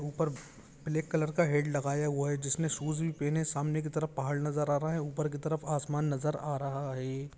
ऊपर black colour का hat लगाया हुआ हैजिसने शूज भी पहने हुए है सामने की तरफ़ पहाड़ नजर आ रहा है ऊपर की तरफ़ आसमान नजर आ रहा है।